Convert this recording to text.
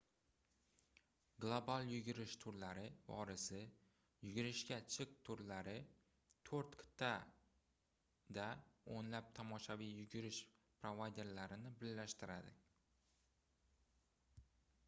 global yugurish turlari vorisi - yugurishga chiq turlari toʻrt qitʼada oʻnlab tomoshaviy yugurish provayderlarini birlashtiradi